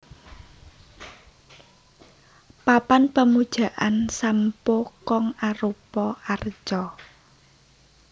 Papan Pemujaan Sam Poo Kong arupa arca